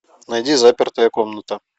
найди запертая комната